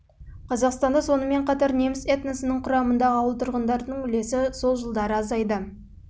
қазақстанда соңы сонымен қатар неміс этносының құрамындағы ауыл тұрғындарының үлесі жылдары азайды алайда ауыл тұрғындары неміс